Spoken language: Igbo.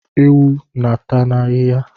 Ewu n'ata ahihia